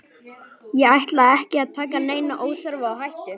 Ég ætla ekki að taka neina óþarfa áhættu,